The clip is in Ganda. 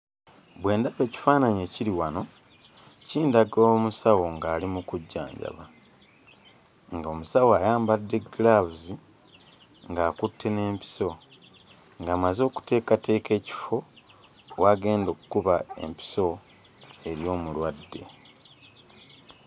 Bwe ndaba ekifaananyi ekiri wano, kindaga omusawo ng'ali mu kujjanjaba. Ng'omusawo ayambadde giraavuzi, ng'akutte n'empiso, ng'amaze okuteekateeka ekifo w'agenda okuba empiso eri omulwadde.